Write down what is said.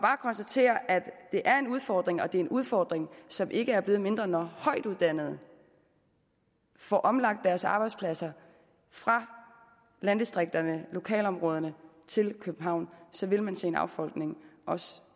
konstatere at det er en udfordring og det er en udfordring som ikke er blevet mindre når højtuddannede får omlagt deres arbejdspladser fra landdistrikterne lokalområderne til københavn så vil man se en affolkning også